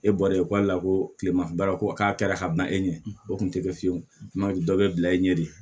E bɔra yen k'ale la ko kilema baara ko k'a kɛra ka ban e ɲɛ o kun tɛ kɛ fiyewu dɔ bɛ bila e ɲɛ de